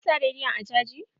Ka sa rediyon a caji.